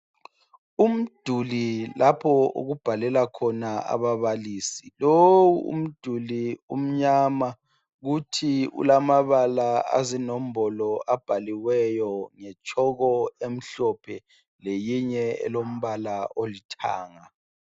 Umduli lapho okubhalela khona ababalisi. Lowu umduli umnyama kuthi ulamabala azinombolo abhaliweyo ngetshoko emhlophe leyinye elombala olithanga.